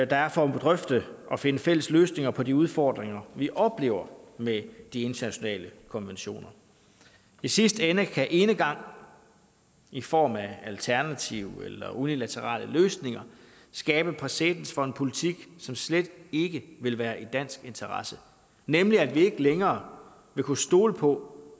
der er for at drøfte og finde fælles løsninger på de udfordringer vi oplever med de internationale konventioner i sidste ende kan enegang i form af alternative eller unilaterale løsninger skabe præcedens for en politik som slet ikke vil være i dansk interesse nemlig at vi ikke længere vil kunne stole på